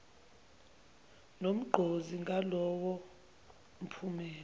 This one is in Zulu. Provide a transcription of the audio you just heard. nogqozi ngalowo mphumela